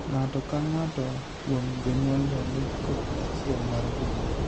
Ng'ato ka ng'ato kuom jonyuolgo nigi kopi achiel mar DNA.